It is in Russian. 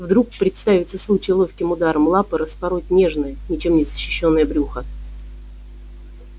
вдруг представится случай ловким ударом лапы распороть нежное ничем не защищённое брюхо